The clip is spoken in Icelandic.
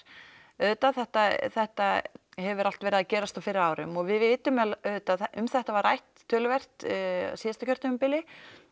auðvitað þetta þetta hefur allt verið að gerast á fyrri árum og við vitum auðvitað að um þetta var rætt töluvert síðasta kjörtímabil